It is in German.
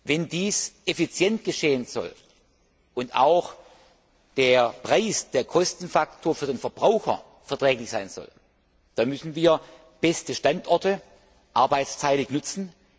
Wenn dies effizient geschehen soll, und auch der Preis, der Kostenfaktor für den Verbraucher verträglich sein soll, dann müssen wir beste Standorte arbeitsteilig nutzen.